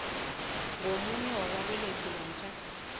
ngomunye wababelethi namkha